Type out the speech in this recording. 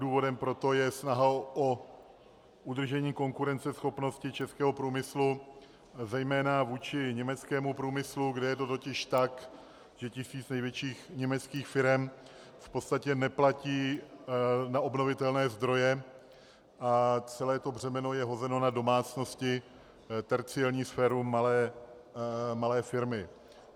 Důvodem pro to je snaha o udržení konkurenceschopnosti českého průmyslu zejména vůči německému průmyslu, kde je to totiž tak, že tisíc největších německých firem v podstatě neplatí na obnovitelné zdroje a celé to břemeno je hozeno na domácnosti, terciární sféru, malé firmy.